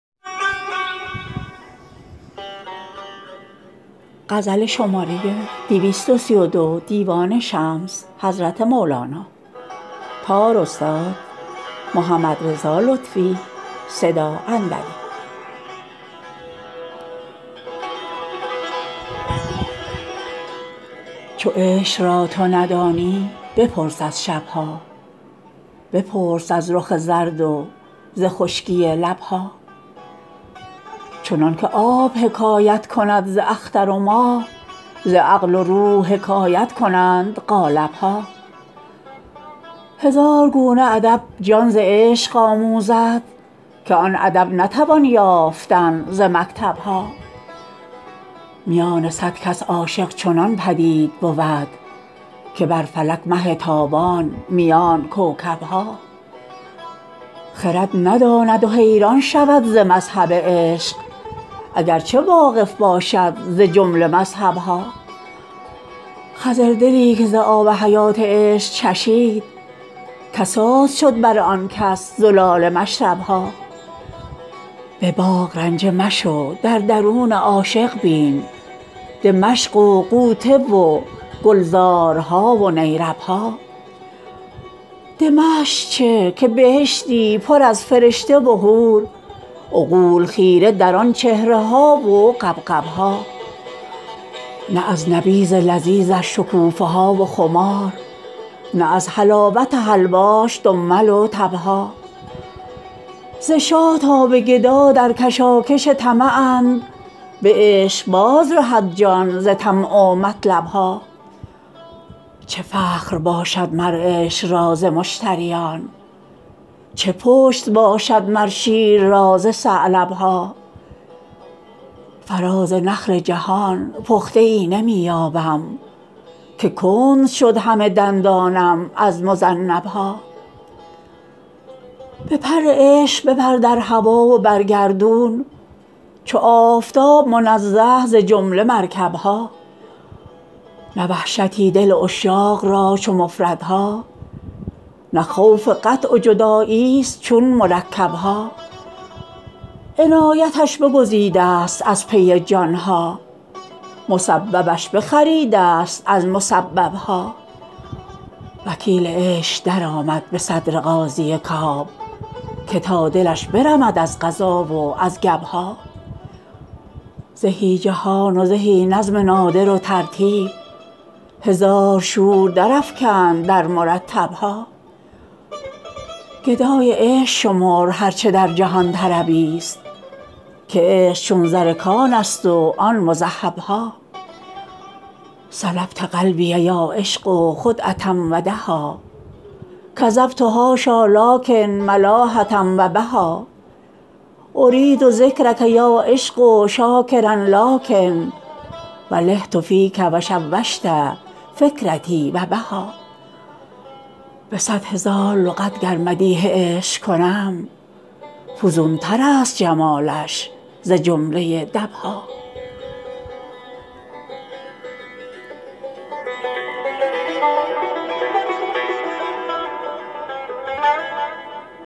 چو عشق را تو ندانی بپرس از شب ها بپرس از رخ زرد و ز خشکی لب ها چنان که آب حکایت کند ز اختر و ماه ز عقل و روح حکایت کنند قالب ها هزار گونه ادب جان ز عشق آموزد که آن ادب نتوان یافتن ز مکتب ها میان صد کس عاشق چنان بدید بود که بر فلک مه تابان میان کوکب ها خرد نداند و حیران شود ز مذهب عشق اگر چه واقف باشد ز جمله مذهب ها خضردلی که ز آب حیات عشق چشید کساد شد بر آن کس زلال مشرب ها به باغ رنجه مشو در درون عاشق بین دمشق و غوطه و گلزارها و نیرب ها دمشق چه که بهشتی پر از فرشته و حور عقول خیره در آن چهره ها و غبغب ها نه از نبیذ لذیذش شکوفه ها و خمار نه از حلاوت حلواش دمل و تب ها ز شاه تا به گدا در کشاکش طمعند به عشق بازرهد جان ز طمع و مطلب ها چه فخر باشد مر عشق را ز مشتریان چه پشت باشد مر شیر را ز ثعلب ها فراز نخل جهان پخته ای نمی یابم که کند شد همه دندانم از مذنب ها به پر عشق بپر در هوا و بر گردون چو آفتاب منزه ز جمله مرکب ها نه وحشتی دل عشاق را چو مفردها نه خوف قطع و جداییست چون مرکب ها عنایتش بگزیدست از پی جان ها مسببش بخریدست از مسبب ها وکیل عشق درآمد به صدر قاضی کاب که تا دلش برمد از قضا و از گب ها زهی جهان و زهی نظم نادر و ترتیب هزار شور درافکند در مرتب ها گدای عشق شمر هر چه در جهان طربیست که عشق چون زر کانست و آن مذهب ها سلبت قلبی یا عشق خدعه و دها کذبت حاشا لکن ملاحه و بها ارید ذکرک یا عشق شاکرا لکن و لهت فیک و شوشت فکرتی و نها به صد هزار لغت گر مدیح عشق کنم فزونترست جمالش ز جمله دب ها